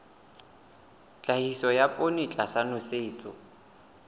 tlhahiso ya poone tlasa nosetso